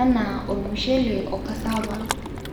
anaa olmushele ocassava